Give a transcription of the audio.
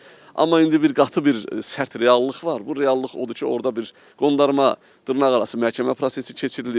Amma indi bir qatı bir sərt reallıq var, bu reallıq odur ki, orada bir qondarma dırnaqarası məhkəmə prosesi keçirilir.